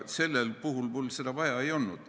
Sellel puhul mul seda vaja ei olnud.